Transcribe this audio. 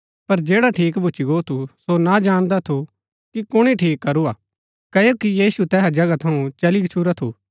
पर जैडा ठीक भूच्ची गो थू सो ना जाणदा थू कि कुणी ठीक करू हा क्ओकि यीशु तैहा जगहा थऊँ चली गच्छुरा थू